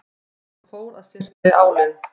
En svo fór að syrta í álinn.